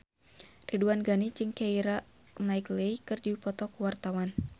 Ridwan Ghani jeung Keira Knightley keur dipoto ku wartawan